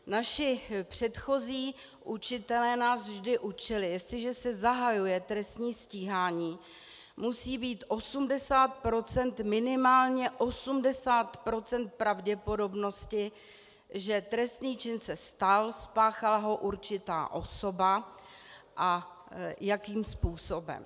Naši předchozí učitelé nás vždy učili: Jestliže se zahajuje trestní stíhání, musí být minimálně 80% pravděpodobnosti, že trestný čin se stal, spáchala ho určitá osoba a jakým způsobem.